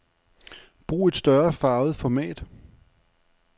Brug et større farvet format.